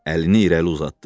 Əlini irəli uzatdı.